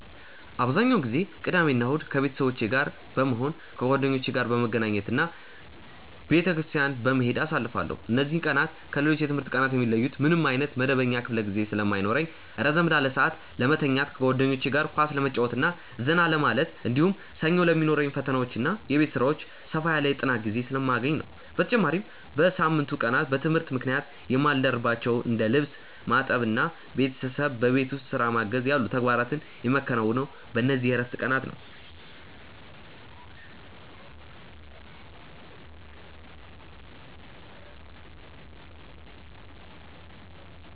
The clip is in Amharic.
አብዛኛውን ጊዜ ቅዳሜና እሁድን ከቤተሰቦቼ ጋር በመሆን፣ ከጓደኞቼ ጋር በመገናኘት እና ቤተክርስቲያን በመሄድ አሳልፋለሁ። እነዚህ ቀናት ከሌሎች የትምህርት ቀናት የሚለዩት ምንም ዓይነት መደበኛ ክፍለ ጊዜ ስለማይኖርኝ ረዘም ላለ ሰዓት ለመተኛት፣ ከጓደኞቼ ጋር ኳስ ለመጫወትና ዘና ለማለት፣ እንዲሁም ሰኞ ለሚኖሩኝ ፈተናዎችና የቤት ሥራዎች ሰፋ ያለ የጥናት ጊዜ ስለማገኝ ነው። በተጨማሪም በሳምንቱ ቀናት በትምህርት ምክንያት የማልደርስባቸውን እንደ ልብስ ማጠብና ቤተሰብን በቤት ውስጥ ሥራ ማገዝ ያሉ ተግባራትን የማከናውነው በእነዚህ የዕረፍት ቀናት ነው።